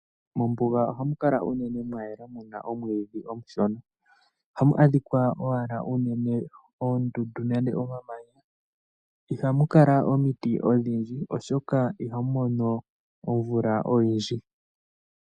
Mombuga ohamu kala unene mwayela muna omwiidhi omushona. Ohamu adhikwa owala unene oondundu nenge omamanya, ihamu kala omiti odhindji, oshoka iha mu mono omvula oyindji.